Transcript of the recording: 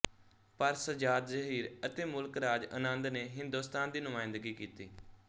ਪਰ ਸੱਜਾਦ ਜ਼ਹੀਰ ਅਤੇ ਮੁਲਕ ਰਾਜ ਆਨੰਦ ਨੇ ਹਿੰਦੁਸਤਾਨ ਦੀ ਨੁਮਾਇੰਦਗੀ ਕੀਤੀ